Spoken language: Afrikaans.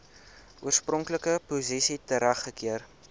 oorspronklike posisie teruggekeer